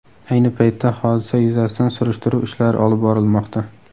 Ayni paytda hodisa yuzasidan surishtiruv ishlari olib borilmoqda.